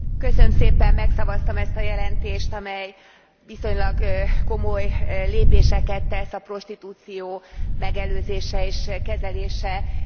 Megszavaztam ezt a jelentést, amely viszonylag komoly lépéseket tesz a prostitúció megelőzése és kezelése terén.